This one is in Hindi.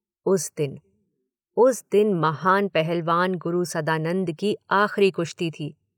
उस दिन, उस दिन महान पहलवान गुरु सदानंद की आखिरी कुश्ती थी।